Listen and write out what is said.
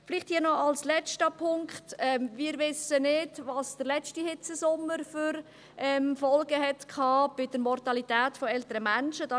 Vielleicht hier noch als letzter Punkt: Wir wissen nicht, welche Folgen der letzte Hitzesommer bezüglich der Mortalität älterer Menschen hatte.